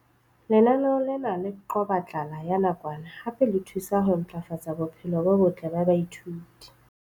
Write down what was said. Lenaneo lena le qoba tlala ya nakwana hape le thusa ho ntlafatsa bophelo bo botle ba baithuti.